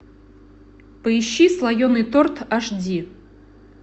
поищи слоеный торт аш ди